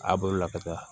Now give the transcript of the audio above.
A bolo la ka taa